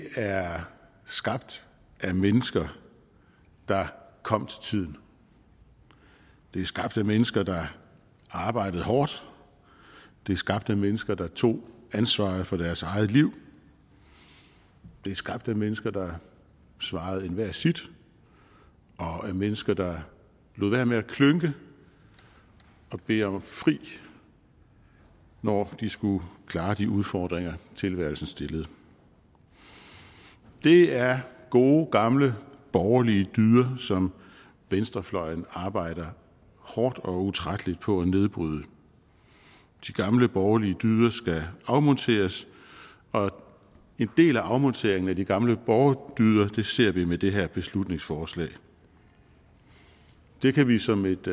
er skabt af mennesker der kom til tiden det er skabt af mennesker der arbejdede hårdt det er skabt af mennesker der tog ansvaret for deres eget liv det er skabt af mennesker der svarede enhver sit og af mennesker der lod være med at klynke og bede om fri når de skulle klare de udfordringer tilværelsen stillede det er gode gamle borgerlige dyder som venstrefløjen arbejder hårdt og utrætteligt på at nedbryde de gamle borgerlige dyder skal afmonteres og en del af afmonteringen af de gamle borgerdyder ser vi med det her beslutningsforslag det kan vi som et